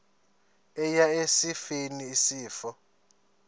eya esifeni isifo